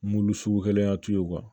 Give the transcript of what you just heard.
Mulu sugu kelen y'a to ye